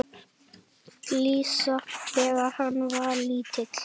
Gísla, þegar hann var lítill.